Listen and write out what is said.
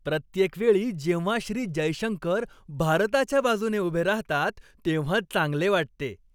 प्रत्येकवेळी जेव्हा श्री. जयशंकर भारताच्या बाजूने उभे राहतात, तेव्हा चांगले वाटते.